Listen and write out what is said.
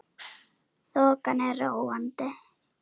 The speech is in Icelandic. Þokan er róandi